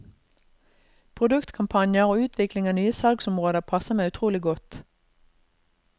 Produktkampanjer og utvikling av nye salgsområder passer meg utrolig godt.